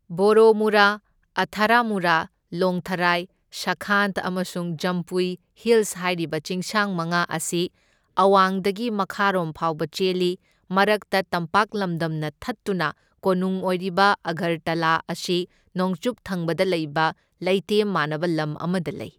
ꯕꯣꯔꯣꯃꯨꯔꯥ, ꯑꯊꯔꯥꯃꯨꯔꯥ, ꯂꯣꯡꯊꯔꯥꯏ, ꯁꯈꯥꯟ ꯑꯃꯁꯨꯡ ꯖꯝꯄꯨꯏ ꯍꯤꯂꯁ ꯍꯥꯢꯔꯤꯕ ꯆꯤꯡꯁꯥꯡ ꯃꯉꯥ ꯑꯁꯤ ꯑꯋꯥꯡꯗꯒꯤ ꯃꯈꯥꯔꯣꯝ ꯐꯥꯎꯕ ꯆꯦꯜꯂꯤ, ꯃꯔꯛꯇ ꯇꯝꯄꯥꯛ ꯂꯃꯗꯝꯅ ꯊꯠꯇꯨꯅ ꯀꯣꯅꯨꯡ ꯑꯣꯏꯔꯤꯕ ꯑꯒꯔꯇꯂꯥ ꯑꯁꯤ ꯅꯣꯡꯆꯨꯞ ꯊꯪꯕꯗ ꯂꯩꯕ ꯂꯩꯇꯦꯝ ꯃꯥꯟꯅꯕ ꯂꯝ ꯑꯃꯗ ꯂꯩ꯫